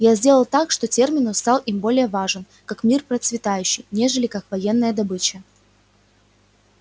я сделал так что терминус стал им более важен как мир процветающий нежели как военная добыча